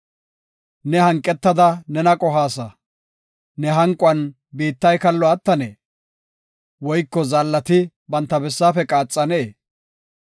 Ne hanqetada nena qohaasa; Ne hanquwan biittay kallo attanee? Woyko zaallay ba bessaafe qaaxennee?